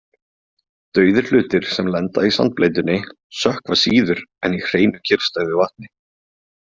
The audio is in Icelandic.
Dauðir hlutir sem lenda í sandbleytunni sökkva síður en í hreinu kyrrstæðu vatni.